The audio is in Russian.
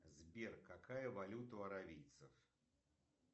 сбер какая валюта у аравийцев